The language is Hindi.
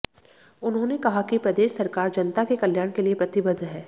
उन्होंने कहा कि प्रदेश सरकार जनता के कल्याण के लिए प्रतिबद्ध है